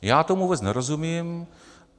Já tomu vůbec nerozumím.